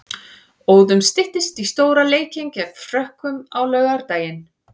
Óðum styttist í stóra leikinn gegn Frökkum á laugardaginn.